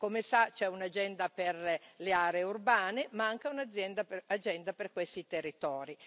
Come sa, c'è un'agenda per le aree urbane, ma anche un'agenda per questi territori.